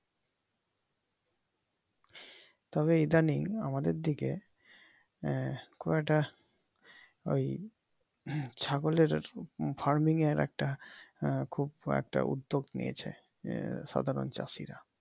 তবে ইদানীং আমাদের দিকে কয়েকটা ওই ছাগলের farming এর খুব একটা উদ্দ্যেগ নিয়েছে সাধারন চাষিরা।